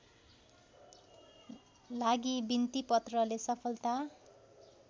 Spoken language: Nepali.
लागि बिन्तिपत्रले सफलता